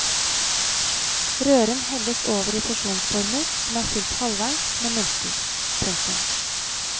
Røren helles over i porsjonsformer som er fylt halvveis med multer. punktum